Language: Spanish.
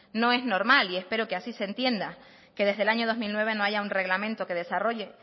no es normal y espero que así se entienda que desde el año dos mil nueve no haya un reglamento que desarrolle